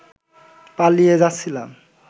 পালিয়ে যাচ্ছিলাম